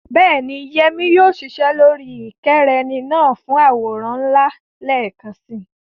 Bẹ́ẹ̀ni, Yemi yóò ṣiṣẹ́ ẹ̀rọ ìkẹ́rẹ́nì náà fún àwòrán ńlá lẹ́ẹ̀kan si.